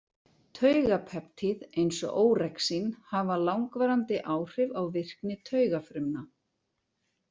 Taugapeptíð, eins og órexín, hafa langvarandi áhrif á virkni taugafrumna.